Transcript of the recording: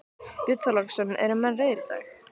Björn Þorláksson: Eru menn reiðir í dag?